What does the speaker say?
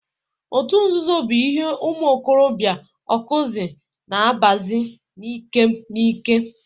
Otu nzuzo bụ ihe ụmụ okorobịa Ọkụzụ na abazi na ikem na ikem.